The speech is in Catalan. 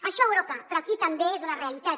això a europa però aquí també és una realitat